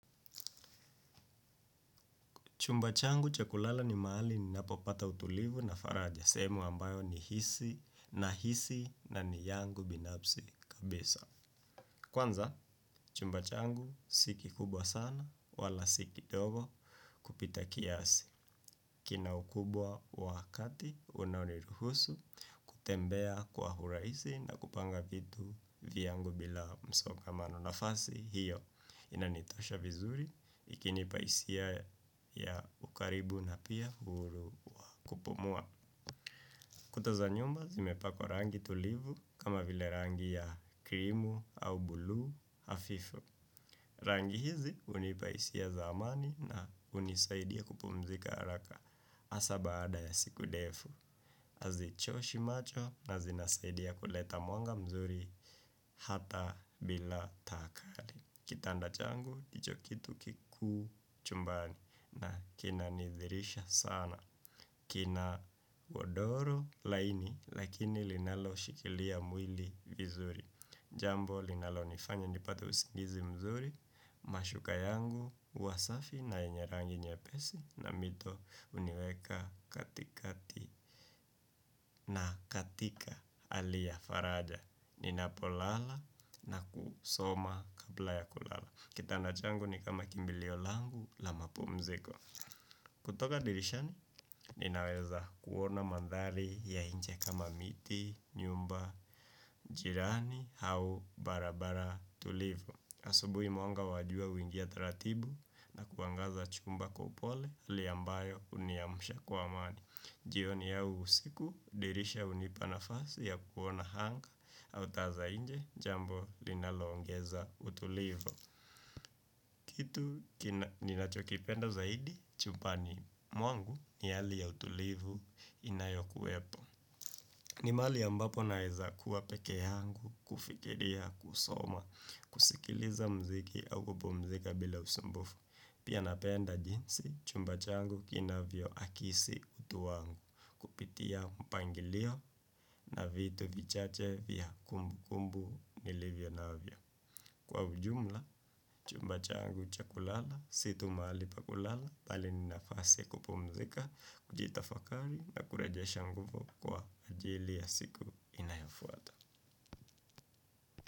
Chumba changu cha kulala ni mahali ninapopata utulivu na faraja. Sehemu ambayo nahisi na ni yangu binafsi kabisa. Kwanza, chumba changu si kikubwa sana wala si kidogo kupita kiasi. Kina ukubwa wa kati unaoniruhusu kutembea kwa urahisi na kupanga vitu viyangu bila msongamano nafasi. Hiyo inanitosha vizuri lakini pasia ya ukaribu na pia kupumua. Kuta za nyumba zimepakwa rangi tulivu kama vile rangi ya krimu au buluu hafifu. Rangi hizi hunipa hisia za amani na hunisaidia kupumzika haraka hasaa baada ya siku ndefu hazichoshi macho na zinasaidia kuleta mwanga mzuri hata bila taa kali. Kitanda changu, ndicho kitu kikuu chumbani. Na kinanidhiirisha sana. Kina godoro laini. Lakini linaloshikilia mwili vizuri jambo linalonifanya nipate usingizi mzuri. Mashuka yangu, huwa safi na yenye rangi nyepesi. Na mito huniweka katikati. Na katika hali ya faraja ninapolala na kusoma kabla ya kulala. Kitanda changu ni kama kimbilio langu la mapumziko. Kutoka dirishani ninaweza kuona mandhali ya nje kama miti, nyumba, jirani au barabara tulivu asubuhi mwanga wa jua huingia taratibu na kuangaza chumba kwa upole hali ambayo huniamusha kwa amani. Jioni au usiku dirisha hunipa nafasi ya kuona anga au taa za nje jambo linaloongeza utulivu. Kitu ninachokipenda zaidi chumbani mwangu ni hali ya utulivu inayokuwepo. Ni mahali ambapo naweza kuwa pekee yangu, kufikiria, kusoma, kusikiliza mziki au kupumzika bila usumbufu. Pia napenda jinsi chumba changu kinavyoakisi utu wangu kupitia mpangilio na vitu vichache vya kumbukumbu nilivyo navyo. Kwa ujumla, chumba changu cha kulala, si tu mahali pa kulala, bali ni nafasi ya kupumzika, kujitafakari na kurejesha nguvu kwa ajili ya siku inayofuata.